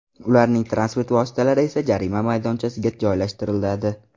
Ularning transport vositalari esa jarima maydonchasiga joylashtiriladi.